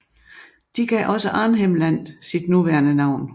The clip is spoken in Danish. De gav også Arnhem Land sit nuværende navn